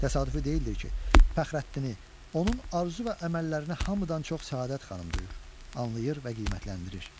Təsadüfi deyildir ki, Fəxrəddini, onun arzu və əməllərinə hamıdan çox Səadət xanım duyur, anlayır və qiymətləndirir.